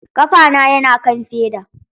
Kafana yana kan feda.